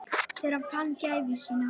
Þegar hann fann gæfu sína.